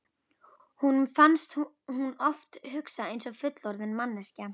Honum fannst hún oft hugsa eins og fullorðin manneskja.